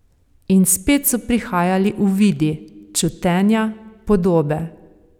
In spet so prihajali uvidi, čutenja, podobe.